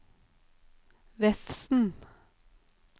Vefsn